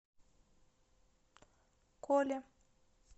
коле